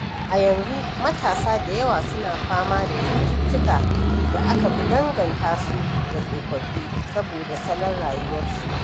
A yanzu, matasa da yawa suna fama da cututtukan da aka fi danganta su da tsofaffi saboda salon rayuwar su.